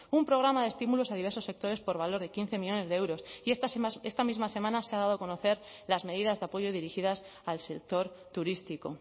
un programa estímulos a diversos sectores por valor de quince miles de euros y estas más esta misma semana se ha dado a conocer las medidas de apoyo dirigidas al sector turístico